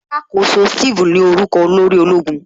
Alakoso Steve ní orúkọ olórí ológun